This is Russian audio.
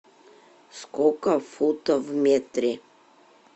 сколько футов в метре